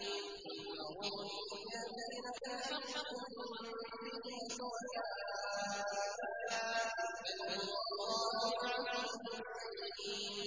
قُلْ أَرُونِيَ الَّذِينَ أَلْحَقْتُم بِهِ شُرَكَاءَ ۖ كَلَّا ۚ بَلْ هُوَ اللَّهُ الْعَزِيزُ الْحَكِيمُ